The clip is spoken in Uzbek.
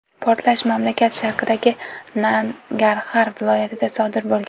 Portlash mamlakat sharqidagi Nangarxar viloyatida sodir bo‘lgan.